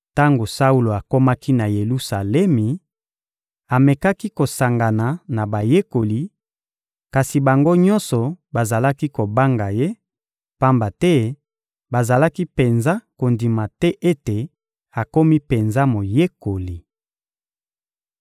Tango Saulo akomaki na Yelusalemi, amekaki kosangana na bayekoli, kasi bango nyonso bazalaki kobanga ye, pamba te bazalaki penza kondima te ete akomi penza moyekoli.